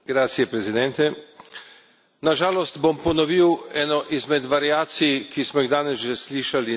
Na žalost bom ponovil eno izmed variacij, ki smo jih danes že slišali na temo Bosne in Hercegovine.